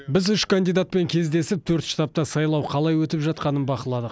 біз үш кандидатпен кездесіп төрт штабта сайлау қалай өтіп жатқанын бақыладық